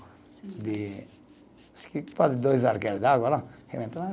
De, acho que quase dois de água lá.